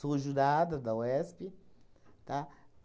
Sou jurada da UESP, tá?